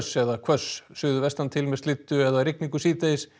eða hvöss suðvestantil með slyddu eða rigningu síðdegis